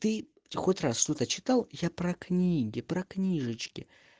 ты хоть раз что-то читал я про книги про книжечки